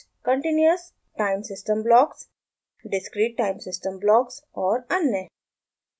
continuous time system blocks discrete time systems blocks और अन्य